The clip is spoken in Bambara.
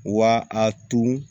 Wa a tun